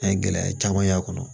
An ye gɛlɛya caman y'a kɔnɔ